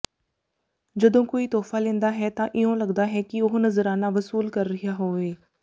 ਜਦੋਂ ਕੋਈ ਤੋਹਫਾ ਲੈਂਦਾ ਹੈ ਤਾਂ ਇਉਂ ਲਗਦਾ ਹੈ ਕਿ ਉਹ ਨਜ਼ਰਾਨਾ ਵਸੂਲ ਰਿਹਾ ਹੋਵੇ